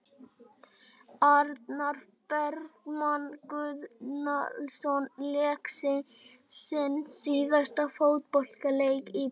Arnar Bergmann Gunnlaugsson lék sinn síðasta fótboltaleik í dag.